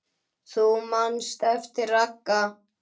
Þú manst eftir Ragga.